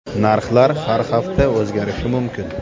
Narxlar har hafta o‘zgarishi mumkin.